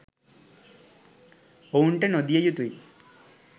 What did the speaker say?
ඔවුන්ට නො දිය යුතු යි.